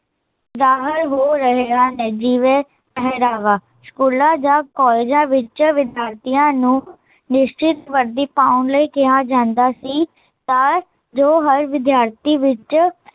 ਜ਼ਾਹਰ ਹੋ ਰਹੇ ਹਨ, ਜਿਵੇ ਪਹਿਰਾਵਾ, ਸਕੂਲਾਂ ਜਾਂ ਕੋਲਜਾਂ ਵਿੱਚ ਵਿਦਿਆਰਥੀਆ ਨੂੰ ਨਿਸਚਿਤ ਵਰਦੀ ਪਾਉਣ ਲਈ ਕਿਹਾ ਜਾਂਦਾ ਸੀ ਤਾਂ ਜੋ, ਹਰ ਵਿਦਿਆਰਥੀ ਵਿੱਚ